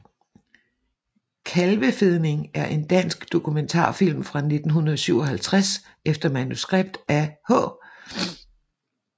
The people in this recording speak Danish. Kalvefedning er en dansk dokumentarfilm fra 1957 efter manuskript af H